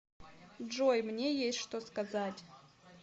джой мне есть что сказать